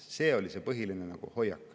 See oli see põhiline hoiak.